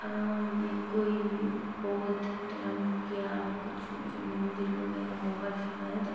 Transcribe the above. ऑ ये कोई बौद्ध धर्म क्या कुछ मुझे मंदिर वगैरह होगा शायद --